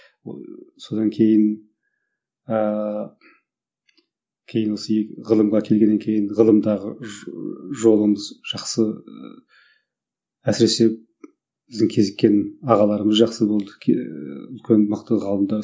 ыыы содан кейін ыыы кейін осы ғылымға келгеннен кейін ғылымдағы жолымыз жақсы әсіресе біздің кезіккен ағаларымыз жақсы болды ііі үлкен мықты ғалымдар